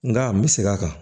Nka n bɛ segin a kan